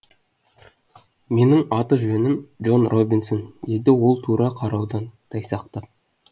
менің аты жөнім джон робинсон деді ол тура қараудан тайсақтап